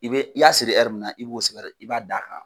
I bɛ i y'a siri ɛri min na i b'o sɛbɛn de i b'a da a kan.